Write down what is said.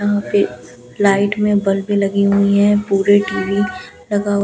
यहाँ पे लाइट में बल्बै लगी हुई हैं पूरे टी_वी लगा हुआ --